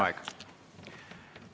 Aeg!